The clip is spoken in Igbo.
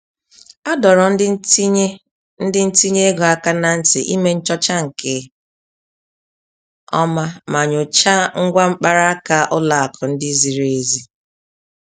A dọrọ ndị ntinye ndị ntinye ego aka na ntị ime nchọcha nke ọma ma nyochaa ngwa mkparaka ụlọ akụ ndị zịrị ezi